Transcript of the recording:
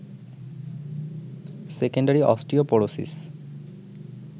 secondary osteoporosis